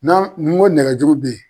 N'an ngo nɛgɛjuru bɛ ye.